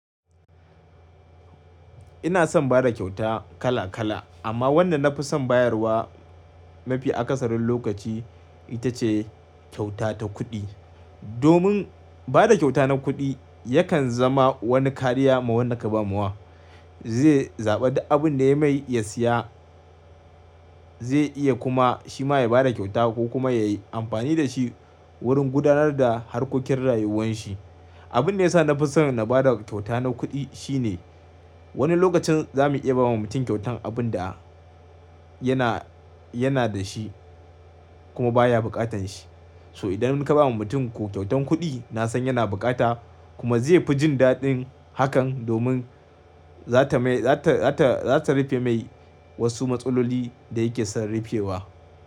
Ina son bada kyauta kala kala amma wanda na fi son bayarwa mafi akasarin lokaci ita ce kyauta ta kuɗi. Domin bada kyauta na kuɗi yakan zama wani kariya ma wannan ka bawa. Zai zaɓa da abin da ya mai ya siya ze iya kuma shi ma ya bada kyauta ko kuma yayi amfani da shi wurin gudanar da harkokin rayuwan shi. Abin da ya sa na fi son na bada kyauta na kuɗi shine wani lokacin za mu iya bawa mutum kyautan abin da yana yana da shi kuma baya bukatan shi. So idan mun ka bawa mutum kyautan kuɗi na san yana bukata kuma zai fi jin daɗin hakan domin zata mai zata zata rufe mai wasu matsaloli da yake son rufewa.